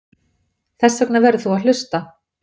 Þessvegna verður þú að hlusta.